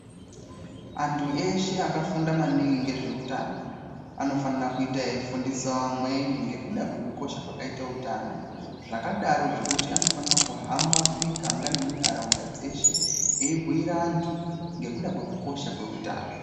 Antu eshe akafunda maningi ngezveutano anofane kuita eifundisawo amweni ngekuda kwekukosha kwakaite utano zvakadaro zvekuti anofanire kuhamba mumigaga nemunharaunda dzeshe eibhuyira antu ngekuda kwekukosha kweutano.